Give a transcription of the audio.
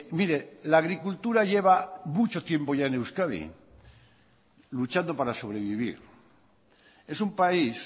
mire la agricultura lleva mucho tiempo ya en euskadi luchando para sobrevivir es un país